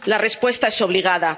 La respuesta es obligada.